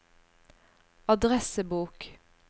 adressebok